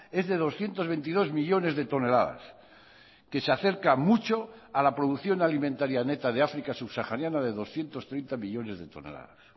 es de doscientos veintidós millónes de toneladas que se acerca mucho a la producción alimentaria neta de áfrica subsahariana de doscientos treinta millónes de toneladas